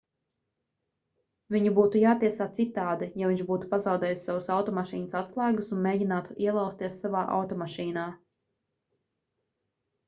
viņu būtu jātiesā citādi ja viņš būtu pazaudējis savas automašīnas atslēgas un mēģinātu ielauzties savā automašīnā